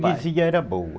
A freguesia era boa.